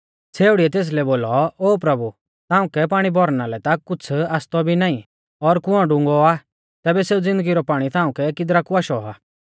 छ़ेउड़ीऐ तेसलै बोलौ ओ प्रभु ताऊं कै पाणी भौरना लै ता कुछ़ आसतौ भी नाईं और कुंऔ डुंगौ आ तैबै सेऊ ज़िन्दगी रौ पाणी ताऊं कै किदरा कु आशौ आ